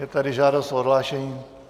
Je tady žádost o odhlášení.